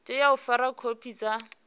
tea u fara khophi sa